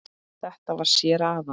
Þetta var séra Aðal